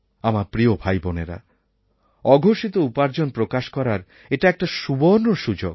আমার প্রিয় ভাইবোনেরা অঘোষিত উপার্জন প্রকাশ করার এটা একটা সুবর্ণ সুযোগ